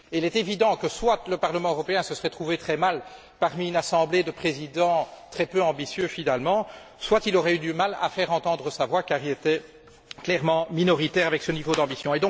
Il est évident que soit le Parlement européen se serait trouvé très mal parmi une assemblée de présidents finalement très peu ambitieux, soit il aurait eu du mal à faire entendre sa voix car il était clairement minoritaire avec ce niveau d'ambition.